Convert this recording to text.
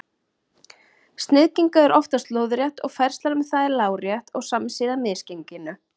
Sniðgengi eru oftast lóðrétt og færslan um þau er lárétt og samsíða misgenginu.